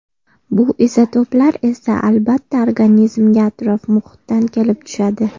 Bu izotoplar esa albatta organizmga atrof-muhitdan kelib tushadi.